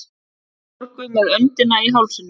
Sólborgu með öndina í hálsinum.